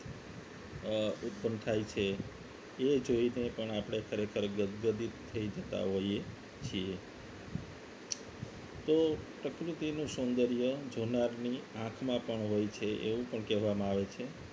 અ ઉત્પન્ન થાય છે એ જોઈને પણ આપણે ખરેખર ગદિત થઈ જતા હોઈએ છીએ તો પ્રકૃતિનું સૌંદર્ય જોનારની આંખમાં પણ હોય છે એવું પણ કહેવામાં આવે છે